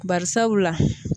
Karisabula